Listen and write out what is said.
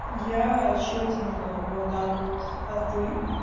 я чётенько вот так вот а ты